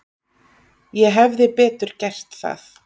Ég hefði betur gert það.